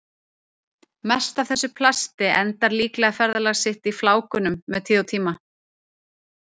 Mest af þessu plasti endar líklega ferðalag sitt í flákunum með tíð og tíma.